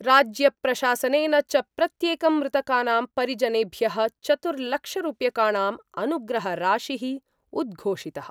राज्य प्रशासनेन च प्रत्येकं मृतकानां परिजनेभ्य: चतुर्लक्षरूप्यकाणां अनुग्रहराशि: उद्घोषित:।